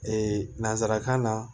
Ee nanzarakan na